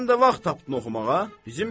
Sən də vaxt tapdın oxumağa?